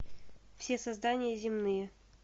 все создания земные